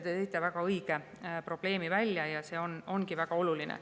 Te tõite väga õige probleemi välja ja see ongi väga oluline.